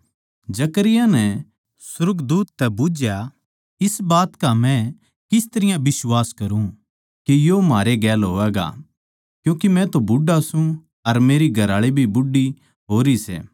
जकरयाह नै सुर्गदूत तै बुझया इस बात का मै किस तरियां बिश्वास करुँ के यो म्हारे गेल होवैगा क्यूँके मै तो बुढ़ा सूं अर मेरी घरआळी भी बूढ़ी होरी सै